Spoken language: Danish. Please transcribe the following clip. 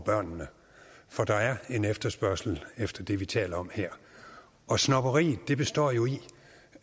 børnene for der er en efterspørgsel efter det vi taler om her og snobberiet består jo i